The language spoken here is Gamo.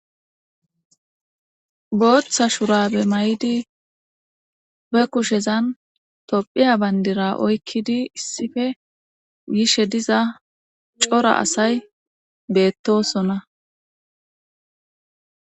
Gooththa shurabe may7idi be kushezan tophiya bandira oykkidi issife gishe diza cora asay beettosona.